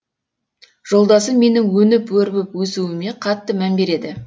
жолдасым менің өніп өрбіп өсуіме қатты мән береді